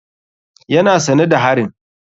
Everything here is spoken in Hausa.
Yana sane da harin.